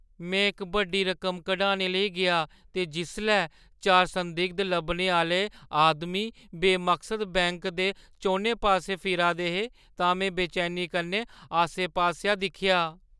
में इक बड्डी रकम कढाने लेई गेआ ते जिसलै चार संदिग्ध लब्भने आह्‌ले आदमी बेमकसद बैंक दे चौनें पासै फिरा दे हे तां में बेचैनी कन्नै आसे-पासेआ दिक्खेआ ।